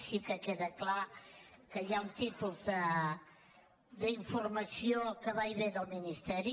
sí que queda clar que hi ha un tipus d’informació que va i ve del ministeri